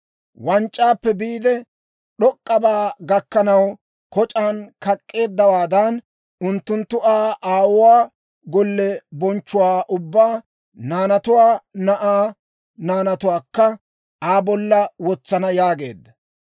Wanc'c'aappe biide, d'ok'k'abaa gakkanaw koc'aan kak'k'eeddawaadan, unttunttu Aa aawuwaa golliyaa bonchchuwaa ubbaa, naanatuwaa, na'aa naanatuwaakka, Aa bolla wotsana» yaageedda.